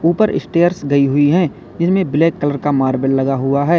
ऊपर स्टेयर्स गई हुई है जिसमें ब्लैक कलर का मार्बल लगा हुआ है।